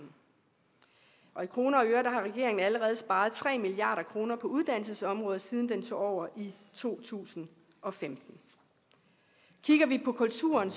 og i kroner har regeringen allerede sparet tre milliard kroner på uddannelsesområdet siden den tog over i to tusind og femten kigger vi på kulturen